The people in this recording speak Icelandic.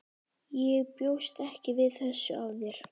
Ég bjóst ekki við þessu af þér.